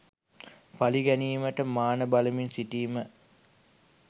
පලි ගැනීමට මාන බලමින් සිටීම